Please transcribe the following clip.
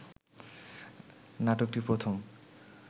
নাটকটি প্রথম